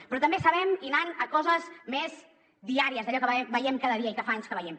però també sabem i anant a coses més diàries d’allò que veiem cada dia i que fa anys que veiem